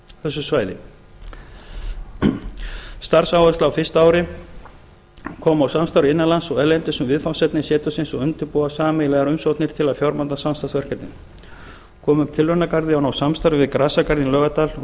þessu svæði starfsáherslur á fyrsta ári koma á samstarfi innan lands og erlendis um viðfangsefni setursins og undirbúa sameiginlegar umsóknir til að fjármagna samstarfsverkefnin koma upp tilraunagarði og ná samstarfi við grasagarðinn í laugardal og